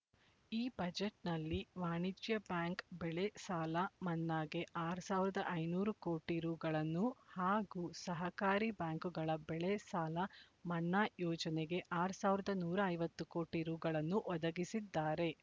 ಈ ಬಜೆಟ್‌ನಲ್ಲಿ ವಾಣಿಜ್ಯ ಬ್ಯಾಂಕ್ ಬೆಳೆ ಸಾಲ ಮನ್ನಾಗೆ ಆರ್ ಸಾವಿರದ ಐನೂರು ಕೋಟಿ ರೂಗಳನ್ನು ಹಾಗೂ ಸಹಕಾರಿ ಬ್ಯಾಂಕ್‌ಗಳ ಬೆಳೆ ಸಾಲ ಮನ್ನಾ ಯೋಜನೆಗೆ ಆರ್ ಸಾವಿರದ ನೂರ ಐವತ್ತು ಕೋಟಿ ರೂಗಳನ್ನು ಒದಗಿಸಿದ್ದಾರೆ